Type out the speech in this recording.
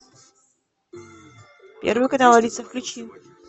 первый канал алиса включи